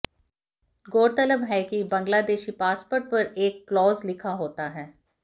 गौरतलब है कि बांग्लादेशी पासपोर्ट पर एक क्लॉज लिखा होता है